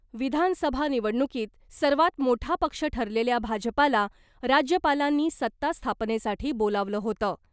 विधानसभा निवडणुकीत सर्वात मोठा पक्ष ठरलेल्या भाजपाला राज्यपालांनी सत्ता स्थापनेसाठी बोलावलं होतं .